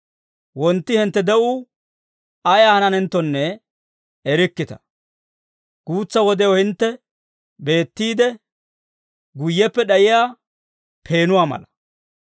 Wontti hintte de'uu ayaa hananenttonne erikkita; guutsa wodew hintte beettiide, guyyeppe d'ayiyaa peenuwaa mala.